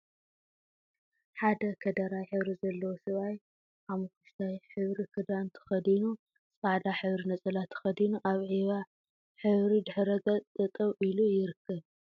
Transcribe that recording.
ሓደ ከደራይ ሕብሪ ዘለዎ ሰብኣይ ሓመኩሽታይ ሕብሪ ክዳን ተከዲኑ ጻዕዳ ሕብሪ ነፀላ ተከዲኑ ኣብ ዒባ ሕብሪ ድሕረ ገፅ ጠጠው ኢሉ ይርከብ።